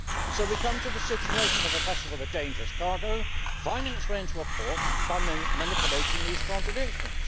So we come to the situation of a vessel with a dangerous cargo finding its way into a port by manipulating these contradictions.